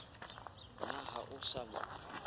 na ha o sa mo